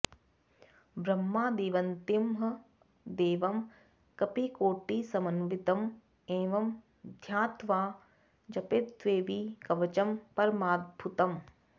ब्रह्मादिवन्दितं देवं कपिकोटिसमन्वितं एवं ध्यात्वा जपेद्देवि कवचं परमाद्भुतम्